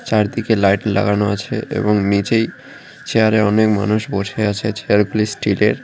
চারদিকে লাইট লাগানো আছে এবং নীচেই চেয়ার -এ অনেক মানুষ বসে আছে চেয়ার -গুলি স্টিল -এর।